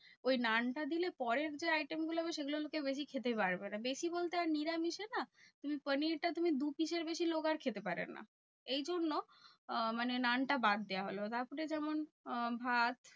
ওই নানটা দিলে পরের যে item গুলো হবে সেগুলো আবার লোকে বেশি খেতে পারবে না। বেশি বলতে নিরামিষে না তুমি পানিরটা তুমি দু piece এর বেশি লোক আর খেতে পারে না। এই জন্য আহ মানে নানটা বাদ দেওয়া হলো। তারপরে যেমন আহ ভাত